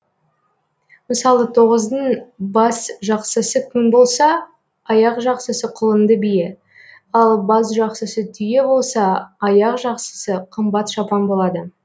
мысалы тоғыздың басжақсысы күң болса аяқжақсысы құлынды бие ал басжақсысы түйе болса аяқжақсысы қымбат шапан болады